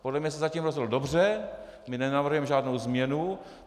Podle mě se zatím rozhodl dobře, my nenavrhujeme žádnou změnu.